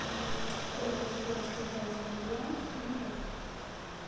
сколько стоит китайский юань в тинькофф